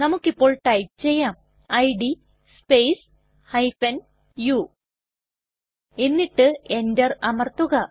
നമുക്ക് ഇപ്പോൾ ടൈപ്പ് ചെയ്യാം ഇഡ് സ്പേസ് u എന്നിട്ട് Enter അമർത്തുക